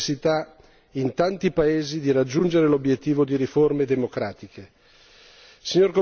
In sostanza, la necessità in tanti paesi di raggiungere l'obiettivo di riforme democratiche.